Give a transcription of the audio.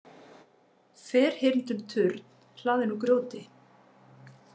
Ferhyrndur turn hlaðinn úr grjóti.